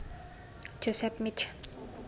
Joseph Mich